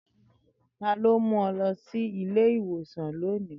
Tani o mu ọ lọ si ile-iwosan loni?